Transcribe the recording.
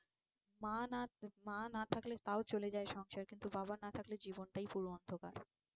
মা না, মা না থাকলে তাও চলে যায় সংসার কিন্তু বাবা না থাকলে জীবনটাই পুরো অন্ধকার